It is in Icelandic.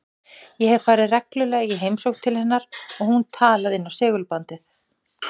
Ég hef farið reglulega í heimsókn til hennar og hún talað inn á segulbandið.